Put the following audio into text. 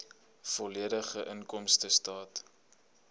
volledige inkomstestaat